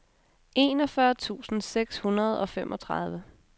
enogfyrre tusind seks hundrede og femogtredive